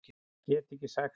Get ekki sagt það.